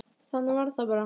Þannig var það bara.